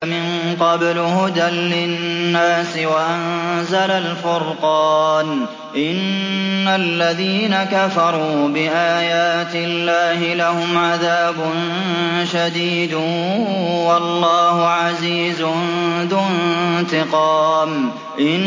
مِن قَبْلُ هُدًى لِّلنَّاسِ وَأَنزَلَ الْفُرْقَانَ ۗ إِنَّ الَّذِينَ كَفَرُوا بِآيَاتِ اللَّهِ لَهُمْ عَذَابٌ شَدِيدٌ ۗ وَاللَّهُ عَزِيزٌ ذُو انتِقَامٍ